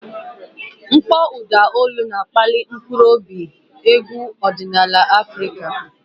Mkpọ ụda olu na-akpali mkpụrụ obi nke egwu ọdịnala Afrika.